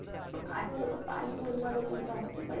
अच्चा हे बघ पानिपुरीमध्ये कोणत असत?